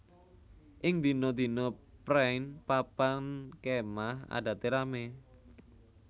Ing dina dina préén papan kémah adate ramé